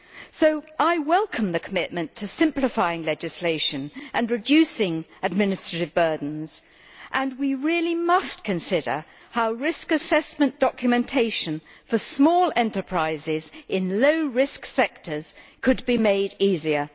So I welcome the commitment to simplifying legislation and reducing administrative burdens, and we really must consider how risk assessment documentation for small enterprises in low risk sectors could be made easier.